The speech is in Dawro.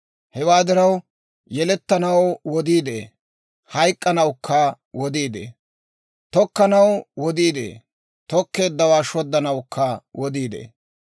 Hewaa diraw, yelettanaw wodii de'ee; hayk'k'anawukka wodii de'ee. Tokkanaw wodii de'ee; tokkeeddawaa shoddanawukka wodii de'ee.